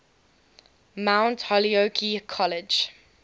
mount holyoke college